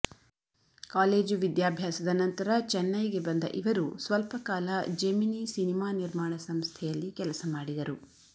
college ವಿದ್ಯಾಭ್ಯಾಸದ ನಂತರ ಚೆನ್ನೈಗೆ ಬಂದ ಇವರು ಸ್ವಲ್ಪ ಕಾಲ ಜೆಮಿನಿ ಸಿನಿಮಾ ನಿರ್ಮಾಣ ಸಂಸ್ಥೆಯಲ್ಲಿ ಕೆಲಸ ಮಾಡಿದರು